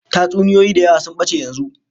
Tatsuniyoyi da yawa sun bace yanzu